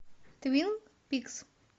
твин пикс